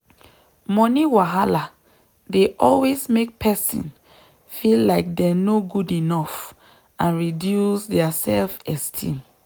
money wahala dey always make person feel like dem no good enough and reduce dia self-esteem.